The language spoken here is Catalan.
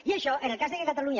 i això en el cas que catalunya